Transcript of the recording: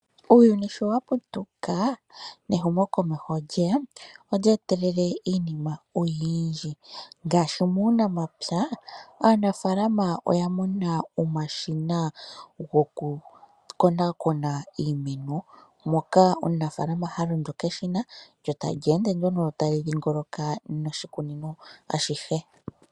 Uuyuni shi wa putuka nehumokomeho olye ya. Olye etelele iinima oyindji ngaashi muunamapya, aanafaalaama oya mona omashina gokukonakona iimeno, moka omunafaalama ha londo keshina, lyo tali ende nduno tali dhingoloka noshikunino ashihe.